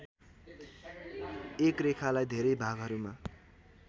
एक रेखालाई धेरै भागहरुमा